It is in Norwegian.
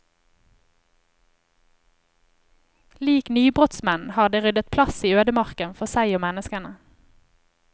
Lik nybrottsmenn har de ryddet plass i ødemarken for seg og menneskene.